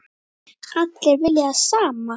Allir vilja það sama.